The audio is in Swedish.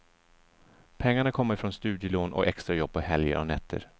Pengarna kommer från studielån och extrajobb på helger och nätter.